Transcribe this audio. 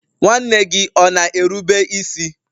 nwanne gị ọ na-erube isi?